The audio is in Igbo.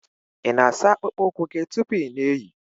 ị na-asa akpụkpọ ụkwụ gị tupu ị na-eyi?